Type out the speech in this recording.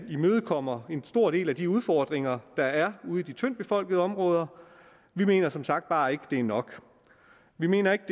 imødekommer en stor del af de udfordringer der er ude i de tyndt befolkede områder vi mener som sagt bare ikke det er nok vi mener ikke